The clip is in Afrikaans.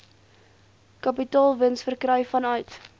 kapitaalwins verkry vanuit